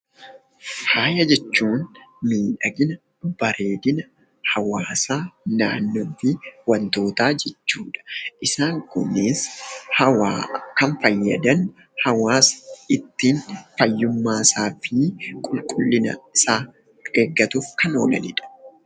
Faaya jechuun miidhagina, bareedina hawaasaa, naannofii wantootaa jechuudha. Isaan kunis hawaa kan fayyadan hawaasa ittiin fayyummaasaa fi qulqullinasaa eeggatuuf kan oolanidha.